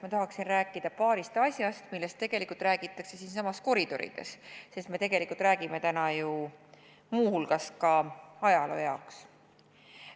Ma tahaksin rääkida paarist asjast, millest räägitakse siinsamas koridorides, sest me tegelikult räägime täna muu hulgas ka ajaloo jaoks.